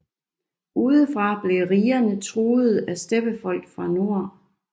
Udefra blev rigerne truede af steppefolk fra nord